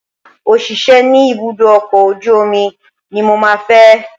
Òṣìṣẹ́ ní ibùdó ọkọ̀ ojú omi ní mo máa fẹ́